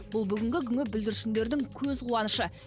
бұл бүгінгі күнгі бүлдіршіндердің көз қуанышы